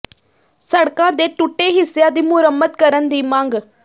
ਸੜਕਾਂ ਦੇ ਟੁੱਟੇ ਹਿੱਸਿਆ ਦੀ ਮੁਰੰਮਤ ਕਰਨ ਦੀ ਮੰਗ